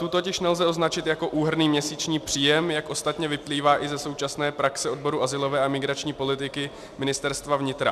Tu totiž nelze označit jako úhrnný měsíční příjem, jak ostatně vyplývá i ze současné praxe odboru azylové a migrační politiky Ministerstva vnitra.